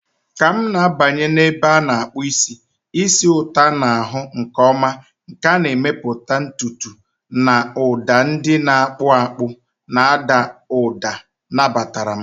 Ka m na-abanye n'ụlọ ebe a na-akpụ isi, ísì ụtọ a na-ahụ nke ọma nke a na-emepụta ntutu na ụda ndị na-akpụ akpụ na-ada ụda nabatara m.